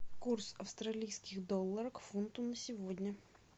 курс австралийских долларов к фунту на сегодня